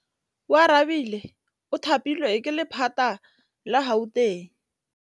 Oarabile o thapilwe ke lephata la Gauteng.